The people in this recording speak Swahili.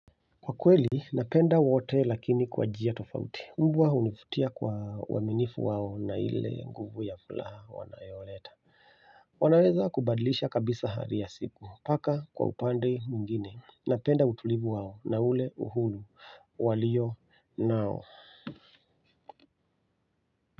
Kwa kweli napenda wote lakini kwa njia tofauti mbwa hunivutia kwa uaminifu wao na ile nguvu ya furaha wanayoleta wanaweza kubadlisha kabisa hali ya siku paka kwa upande mwingine napenda utulivu wao na ule uhuru walio nao.